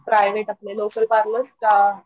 private आपले local parlour का